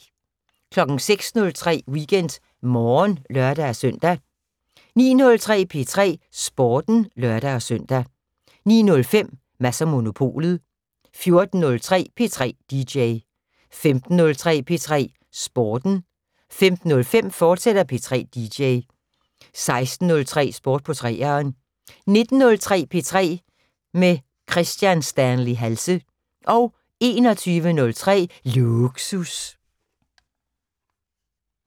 06:03: WeekendMorgen (lør-søn) 09:03: P3 Sporten (lør-søn) 09:05: Mads & Monopolet 14:03: P3 dj 15:03: P3 Sporten 15:05: P3 dj, fortsat 16:03: Sport på 3'eren 19:03: P3 med Kristian Stanley Halse 21:03: Lågsus